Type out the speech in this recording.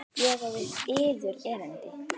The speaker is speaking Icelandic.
Ég á við yður erindi.